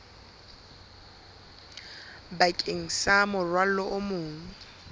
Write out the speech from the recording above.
bakeng sa morwalo o mong